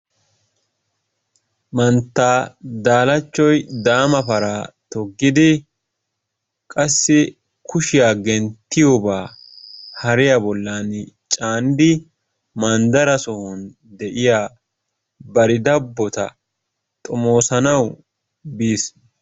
Mantta Daalachoy daama paraa toggidi qassi kushiya genttiyoba hariya bollan caanidi manddara sohuwan de'iya bari dabbota xomoosanawu biis.